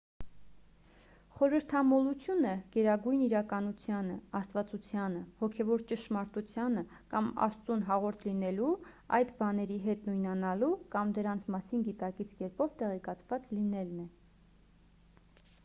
խորհրդամոլությունը գերագույն իրականությանը աստվածությանը հոգևոր ճշմարտությանը կամ աստծուն հաղորդ լինելու այդ բաների հետ նույնանալու կամ դրանց մասին գիտակից կերպով տեղեկացված լինելն է